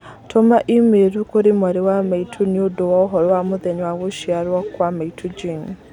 Tũma i-mīrū kũrĩ mwarĩ wa maitũ nĩũndũ wa ũhoro wa mũthenya wa gũciarwo kũ a maitũ Jane